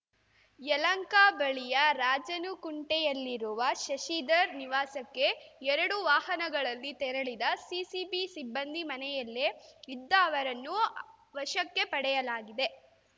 ಯಲಹಂಕ ಬಳಿಯ ರಾಜಾನುಕುಂಟೆಯಲ್ಲಿರುವ ಶಶಿಧರ್ ನಿವಾಸಕ್ಕೆ ಎರಡು ವಾಹನಗಳಲ್ಲಿ ತೆರಳಿದ ಸಿಸಿಬಿ ಸಿಬ್ಬಂದಿ ಮನೆಯಲ್ಲೇ ಇದ್ದ ಅವರನ್ನು ವಶಕ್ಕೆ ಪಡೆಯಲಾಗಿದೆ